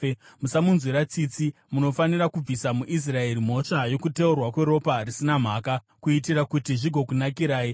Musamunzwira tsitsi. Munofanira kubvisa muIsraeri mhosva yokuteurwa kweropa risina mhaka, kuitira kuti zvigokunakirai.